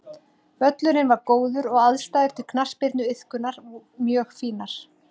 Völlurinn var góður og aðstæður til knattspyrnuiðkunar mjög fínar.